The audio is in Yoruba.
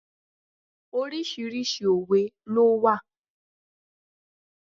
Oríṣiríṣi òwe ló wà.